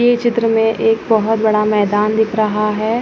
यह चित्र मे एक बहुत बडा मैदान दिख रहा है।